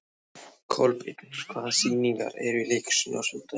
Kolbeinn, hvaða sýningar eru í leikhúsinu á sunnudaginn?